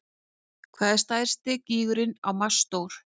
Hvað er stærsti gígurinn á Mars stór?